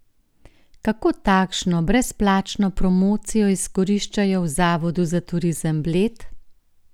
Kako takšno brezplačno promocijo izkoriščajo v Zavodu za turizem Bled?